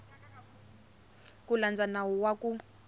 ku landza nawu wa ku